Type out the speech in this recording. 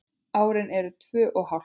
Árin eru tvö og hálft.